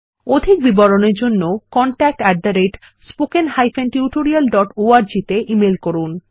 অধিক বিবরণের জন্য contactspoken tutorialorg তে ইমেল করুন